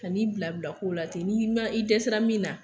Kan'i bila bila kow la ten, n'i ma i dɛsɛra min na,